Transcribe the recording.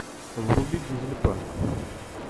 вруби дизель панк